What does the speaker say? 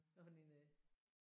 Hvad for en øh